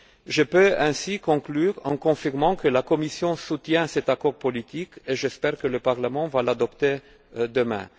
Je peux donc conclure en confirmant que la Commission soutient cet accord politique et j'espère que le Parlement l'adoptera demain.